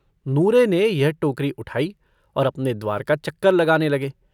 नूरे ने यह टोकरी उठायी और अपने द्वार का चक्कर लगाने लगे।